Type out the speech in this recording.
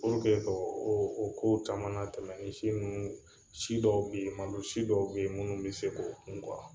k'o o kow caman latɛmɛ ni si ninnu si dɔw bɛ yen malosi dɔw bɛ yen minnu bɛ se k'o kun